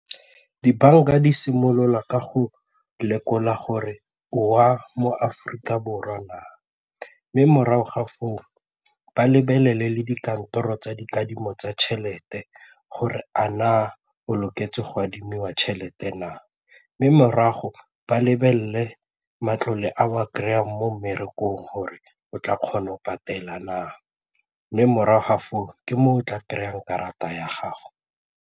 Dibanka di simolola ka go lekola gore o wa mo Aforika Borwa na? Mme morago ga foo, ba lebelele le dikantoro tsa dikadimo tsa tšhelete gore a na o loketseng go adimiwa tšhelete na? Mme morago ba lebelele matlole a o a kry-ang mo mmerekong gore o tla kgona go patela na, mme morago ga foo ke mo o tla kry-ang karata ya gago.